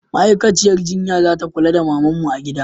Ma'aikaciyar jinya za kula da mamanmu a gida